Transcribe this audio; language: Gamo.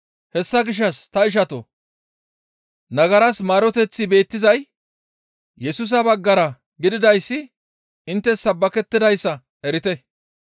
Hessa gishshas ta ishatoo! Nagaras maaroteththi beettizay Yesusa baggara gididayssi inttes sabbakettidayssa erite.